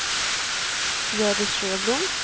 Hjördis Sjöblom